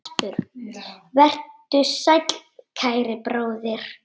Vertu sæll, kæri bróðir.